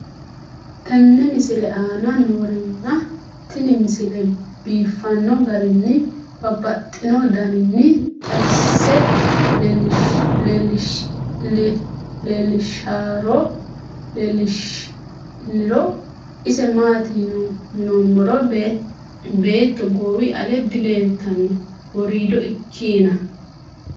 tenne misile aana noorina tini misile biiffanno garinni babaxxinno daniinni xawisse leelishanori isi maati yinummoro beetto goowi ale dileelittanno woriido ikkinna.